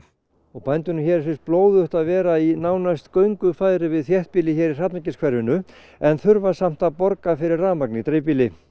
og bændunum hér finnst blóðugt að vera nánast í göngufæri við þéttbýlið hér í en þurfa samt að borga fyrir rafmagn í dreifbýli